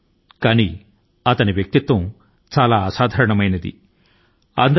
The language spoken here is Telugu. అసాధారణ వ్యక్తిత్వం ఉన్న వ్యక్తి